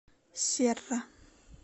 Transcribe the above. серра